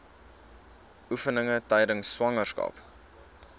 oefeninge tydens swangerskap